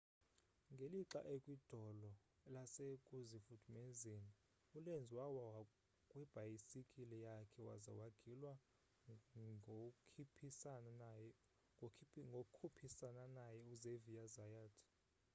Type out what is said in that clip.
ngelixa ekwidolo lasekuzifudumezeni ulenz wawa kwibhayisikile yakhe waza wagilwa ngkhuphisana naye uxavier zayat